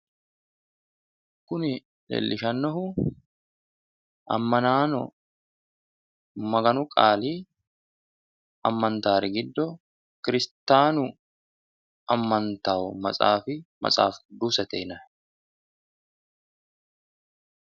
Kuni leellishannohu amanaano Maganu qaali amantaari giddo kirstaanu amantanno maxaafi maxaafi qidusete yinanni.